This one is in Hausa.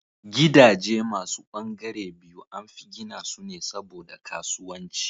Gidaje masu ɓangare biyu anfi gina su ne saboda kasuwanci